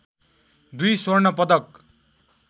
२ स्वर्ण पदक